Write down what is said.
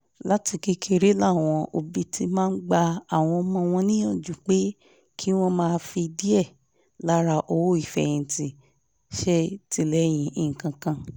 láti kékeré làwọn òbí ti máa ń gba àwọn ọmọ wọn níyànjú pé kí wọ́n máa fi díẹ̀ lára owó ìfẹ̀yìntì ṣètìlẹyìn nǹkan kan